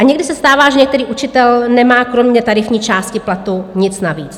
A někdy se stává, že některý učitel nemá kromě tarifní částky platu nic navíc.